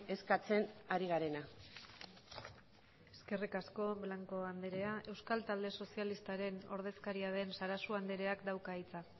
eskatzen ari garena eskerrik asko blanco andrea euskal talde sozialistaren ordezkaria den sarasua andreak dauka hitza